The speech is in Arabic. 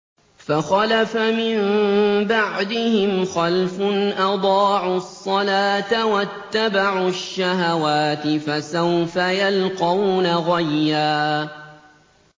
۞ فَخَلَفَ مِن بَعْدِهِمْ خَلْفٌ أَضَاعُوا الصَّلَاةَ وَاتَّبَعُوا الشَّهَوَاتِ ۖ فَسَوْفَ يَلْقَوْنَ غَيًّا